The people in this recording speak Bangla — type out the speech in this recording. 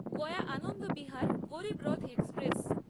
গয়া আনন্দবিহার গরীবরথ এক্সপ্রেস